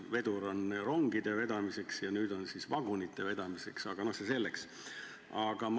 Vedur on rongide vedamiseks ja nüüd siis vagunite vedamiseks, aga see selleks.